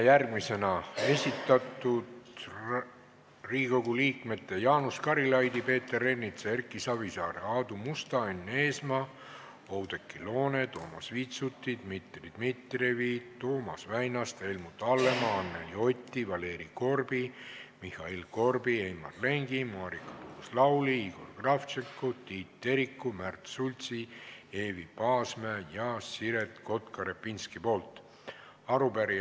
Järgmine on Riigikogu liikmete Jaanus Karilaidi, Peeter Ernitsa, Erki Savisaare, Aadu Musta, Enn Eesmaa, Oudekki Loone, Toomas Vitsuti, Dmitri Dmitrijevi, Toomas Väinaste, Helmut Hallemaa, Anneli Oti, Valeri Korbi, Mihhail Korbi, Heimar Lengi, Marika Tuus-Lauli, Igor Kravtšenko, Tiit Teriku, Märt Sultsi, Eevi Paasmäe ja Siret Kotka-Repinski arupärimine.